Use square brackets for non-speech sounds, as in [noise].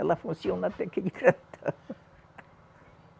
Ela funciona até que [unintelligible] [laughs]